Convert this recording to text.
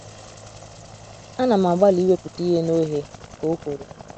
“ Ana m agbalị iwepụta ihe na oghe, ” ka o kwuru